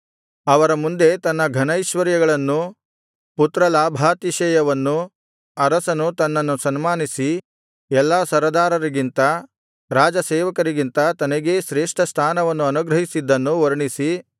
ಅವರ ಮುಂದೆ ತನ್ನ ಘನೈಶ್ವರ್ಯಗಳನ್ನೂ ಪುತ್ರಲಾಭಾತಿಶಯವನ್ನೂ ಅರಸನು ತನ್ನನ್ನು ಸನ್ಮಾನಿಸಿ ಎಲ್ಲಾ ಸರದಾರರಿಗಿಂತ ರಾಜಸೇವಕರಿಗಿಂತ ತನಗೇ ಶ್ರೇಷ್ಠಸ್ಥಾನವನ್ನು ಅನುಗ್ರಹಿಸಿದ್ದನ್ನೂ ವರ್ಣಿಸಿ